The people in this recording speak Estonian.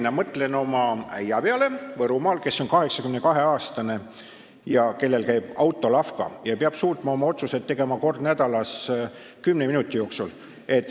Ma mõtlen oma äia peale Võrumaal, kes on 82-aastane ja kes autolavkas peab suutma kord nädalas oma otsused ära teha kümne minuti jooksul.